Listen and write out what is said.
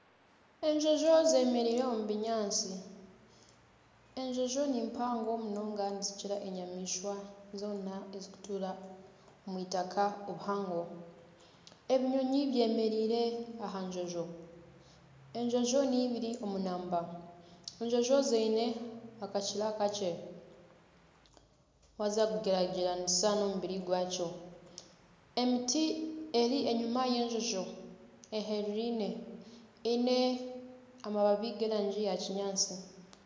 Enjojo zemereire omu binyaatsi, enjojo ni mpango munonga nizikira enyamaishwa zoona ezirikutura omw'eitaaka obuhango, ebinyonyi byemereire aha njojo. Enjojo n'eibiri omu namba, enjojo ziine akakira kakye waza kugyeragyeranisa n'omubiri gwakyo emiti eri enyuma y'enjojo ehereraine eine amababi g'erangi ya kinyaatsi.